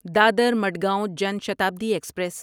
Dadar Madgaon Jan Shatabdi express